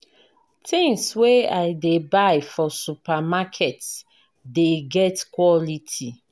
Tins wey I dey buy for supermarket dey get quality.